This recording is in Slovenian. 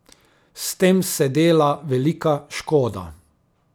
S tem se dela velika škoda.